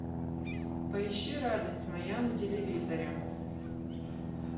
поищи радость моя на телевизоре